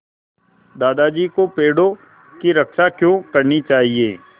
दादाजी को पेड़ों की रक्षा क्यों करनी चाहिए